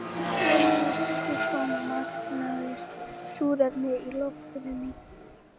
Olíustybban magnast, súrefnið í loftinu minnkar.